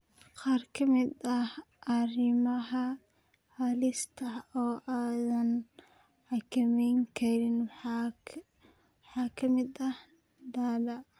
Qaar ka mid ah arrimaha halista ah oo aadan xakameyn karin waxaa ka mid ah Da'da.